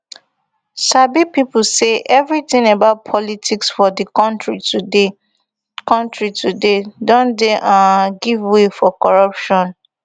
sabi pipo say evritin about politics for di kontri today kontri today don dey um give way for corruption